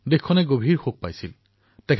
দেশে আকস্মিক পৰিস্থিতিৰ সন্মুখীন হৈছিল